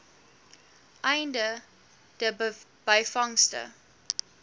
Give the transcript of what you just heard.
einde de byvangste